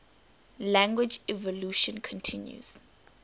language evolution continues